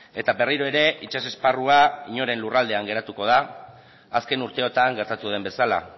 eta berriro ere itsas esparrua inoren lurraldean geratuko da azken urteotan gertatu den bezala